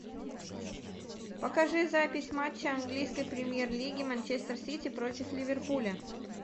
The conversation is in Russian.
покажи запись матча английской премьер лиги манчестер сити против ливерпуля